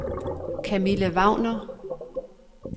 Kamilla Wagner